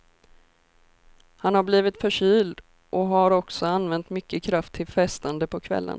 Han har blivit förkyld och har också använt mycket kraft till festande på kvällarna.